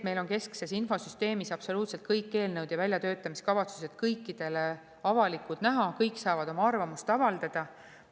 Meil on keskses infosüsteemis absoluutselt kõik eelnõud ja väljatöötamiskavatsused kõikidele avalikult näha, kõik saavad oma arvamust avaldada.